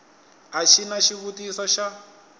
a xi na xivutiso xa